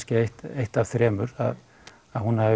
eitt eitt af þremur að hún hafi